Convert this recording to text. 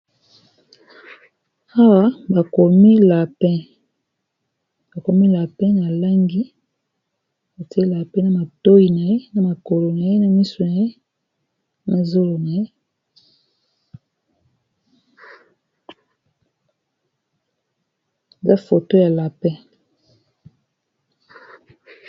Awa bakomi lapin na langi batie lapin na matoyi na ye na makolo na ye na misu na ye mazolo na ye na foto ya lapin.